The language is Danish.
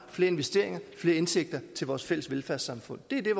flere investeringer og flere indtægter til vores fælles velfærdssamfund det er det